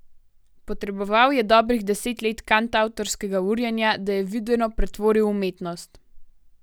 Potreboval je dobrih deset let kantavtorskega urjenja, da je videno pretvoril v umetnost.